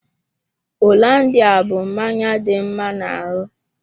Hollandia bú mmanya dị mma na ahụ.